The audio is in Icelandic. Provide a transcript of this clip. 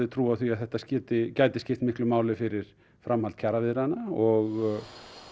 trú á því að þetta gæti gæti skipt miklu máli fyrir framhald kjaraviðræðna og